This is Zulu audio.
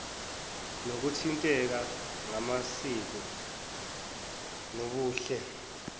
nokuthinteka ngamasiko nobuhle